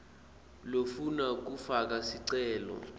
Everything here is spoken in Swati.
lofuna kufaka sicelo